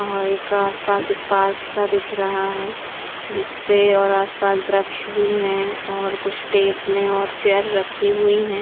और एक आसपास एक पार्क सा दिख रहा है जिसपे और आसपास बृक्ष भी है और कुछ टेबल और चेयर भी रखी हुई हैं।